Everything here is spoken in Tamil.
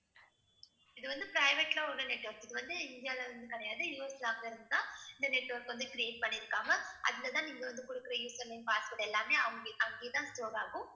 இது வந்து private ல ஒரு network இது வந்து இந்தியால வந்து கிடையாது. US நாட்டிலிருந்துதான் இந்த network வந்து create பண்ணியிருக்காங்க அதுலதான் நீங்க வந்து கொடுக்கிற username, password எல்லாமே அங்கே~ அங்கேயேதான் store ஆகும்